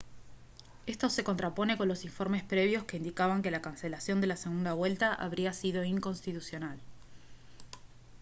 esto se contrapone con los informes previos que indicaban que la cancelación de la segunda vuelta habría sido inconstitucional